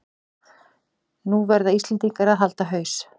Nú verða Íslendingar að halda haus